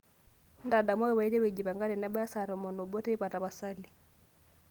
ntadamuaki paiteru aijipanga tenebaya saa tomon o obo teipa tapasali